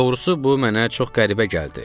Doğrusu bu mənə çox qəribə gəldi.